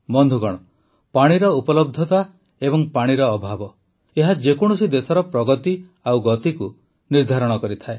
ବନ୍ଧୁଗଣ ପାଣିର ଉପଲବ୍ଧତା ଓ ପାଣିର ଅଭାବ ଏହା ଯେକୌଣସି ଦେଶର ପ୍ରଗତି ଓ ଗତିକୁ ନିର୍ଦ୍ଧାରିତ କରିଥାଏ